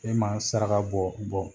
E ma saraka bɔ